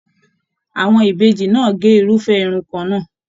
Àwọn Ìbejì náà ge irufẹ irun kànnà.